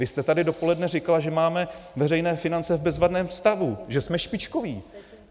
Vy jste tady dopoledne říkala, že máme veřejné finance v bezvadném stavu, že jsme špičkoví.